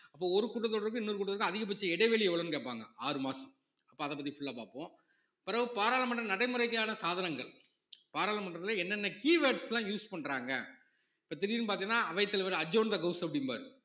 அப்போ ஒரு கூட்டத்தொடருக்கும் இன்னொரு கூட்டத்தொடருக்கும் அதிகபட்ச இடைவெளி எவ்வளவுன்னு கேட்பாங்க ஆறு மாசம் அப்போ அதப் பத்தி full ஆ பார்ப்போம் பிறகு பாராளுமன்ற நடைமுறைக்கான சாதனங்கள் பாராளுமன்றத்திலே என்னென்ன keywords எல்லாம் use பண்றாங்க இப்ப திடீர்னு பாத்தீங்கன்னா அவைத்தலைவர் adjourn the house அப்படிம்பாரு